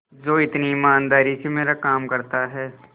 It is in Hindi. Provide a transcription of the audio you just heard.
जो इतनी ईमानदारी से मेरा काम करता है